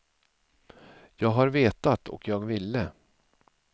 Jag har vetat, och jag ville.